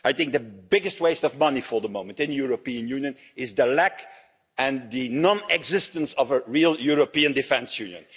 I think the biggest waste of money for the moment in the European Union is the lack and the non existence of a real European Defence